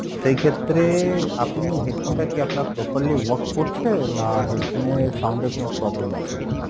সেই ক্ষেত্রে আপনি headphone টা কি আপনার properly work করছে? না, headphone এ sound এ কোনো problem আছে?